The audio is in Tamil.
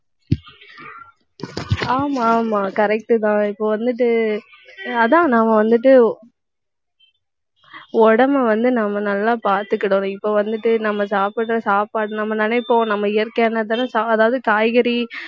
ஆமா, ஆமா correct தான். இப்ப வந்துட்டு, அதான் நாம வந்துட்டு உடம்பை வந்து நாம நல்லா பாத்துக்கிடணும். இப்ப வந்துட்டு நம்ம சாப்பிடற சாப்பாடு நம்ம நினைப்போம் நம்ம இயற்கையானதுதானே சா~ அதாவது காய்கறி